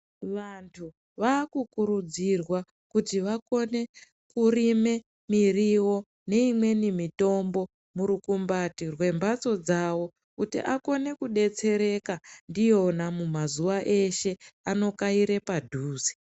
Vantu vakukurudzirwa kuti vakone kurime muriwo neimweni mitombo murukumbati rwembatso dzavo kuti akone kukone kudetsereka ndiyona mumazuwa eshe anokaire padhuze.